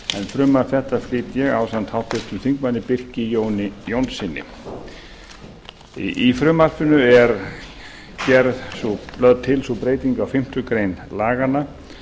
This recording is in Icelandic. frumvarp þetta flyt ég ásamt háttvirtum þingmönnum birki jóni jónssyni í frumvarpinu er lögð til sú breyting á fimmtu grein laganna